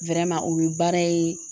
o ye baara ye